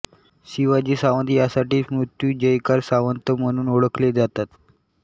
शिवाजी सावंत त्यासाठीच मृत्युंजयकार सावंत म्हणून ओळखले जातात